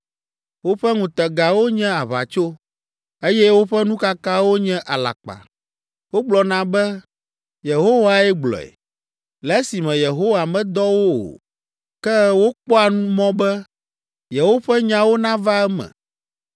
Woƒe ŋutegawo nye aʋatso, eye woƒe nukakawo nye alakpa; wogblɔna be, “Yehowae gblɔe,” le esime Yehowa medɔ wo o, ke wokpɔa mɔ be, yewoƒe nyawo nava eme.